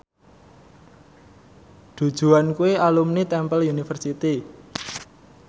Du Juan kuwi alumni Temple University